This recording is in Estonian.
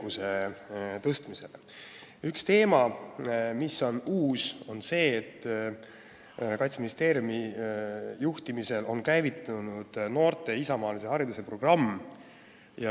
Üks uus teema on see, et Kaitseministeeriumi juhtimisel on käivitunud noorte isamaalise hariduse programm.